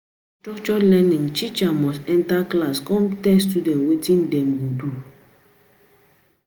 For structured learning, teacher must enter class come tell student wetin dem go do